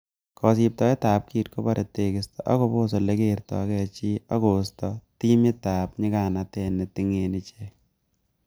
Kosibtoet ab kit kobore tekisto, koboos ele kerto gee chii ak koisto timitab nyiganatet netingenin ichek.